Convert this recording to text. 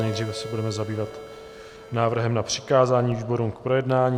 Nejdříve se budeme zabývat návrhem na přikázání výborům k projednání.